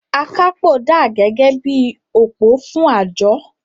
“Akápò dà gẹ́gẹ́ bí i òpó fún àjọ.